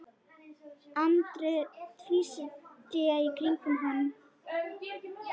Andri tvísté í kringum hann.